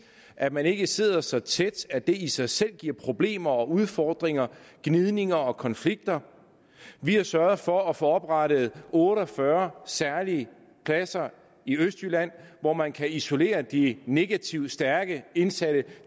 at man ikke sidder så tæt at det i sig selv giver problemer og udfordringer gnidninger og konflikter vi har sørget for at få oprettet otte og fyrre særlige pladser i østjylland hvor man kan isolere de negative stærke indsatte